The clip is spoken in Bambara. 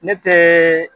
Ne tɛ